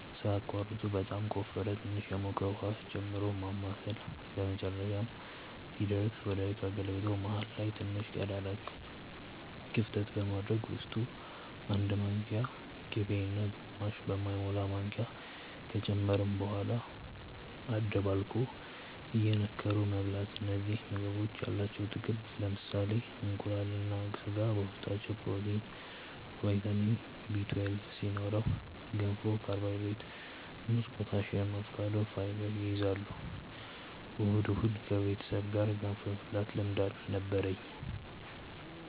ሳያቋርጡ በጣም ከወፈረ ትንሽ የሞቀ ውሃ ጨምሮ ማማሳል በመጨረሻም ሲደርስ ወደ እቃ ገልብጦ መሃል ላይ ትንሽ ቀዳዳ ክፍተት በማድረግ ውስጡ 1 ማንኪያ ቅቤ እና ግማሽ በማይሞላ ማንኪያ ከጨመርን በኋላ አደባልቆ እየነከሩ መብላት እነዚህ ምግቦች ያላቸው ጥቅም ለምሳሌ እንቁላል እና ስጋ በውስጣቸው ፕሮቲን፣ ቫይታሚን Bl2 ሲኖረው ገንፎ ካርቦሃይድሬት፣ ሙዝ ፖታሲየም፣ አቮካዶ ፋይበር ይይዛል። እሁድ እሁድ ከቤተሰብ ጋር ገንፎ የመብላት ልምድ ነበርኝ